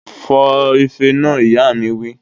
Fọ ife náà! Ìyá mi wí